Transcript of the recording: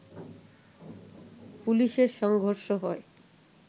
পুলিশের সংঘর্ষ হয়